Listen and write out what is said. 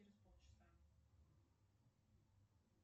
через полчаса